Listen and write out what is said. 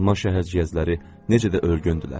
Alma şəhərciyəzləri necə də ölgündürlər.